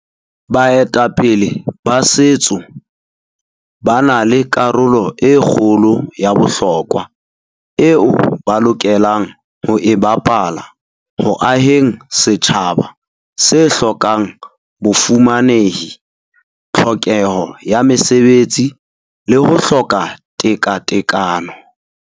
Baetapele sa Setso ba na le karolo e kgolo ya bohlokwa eo ba lokelang ho e bapala ho aheng setjhaba se hlokang bofumanehi, tlhokeho ya mesebetsi le ho hloka tekatekano.